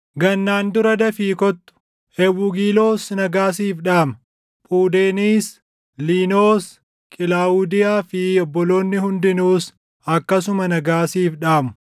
Gannaan dura dafii kottu. Ewugiloos nagaa siif dhaama; Phuudeniis, Liinoos, Qilaawudiyaa fi obboloonni hundinuus akkasuma nagaa siif dhaamu.